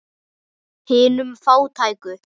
Hinum fátæku.